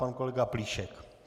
Pan kolega Plíšek.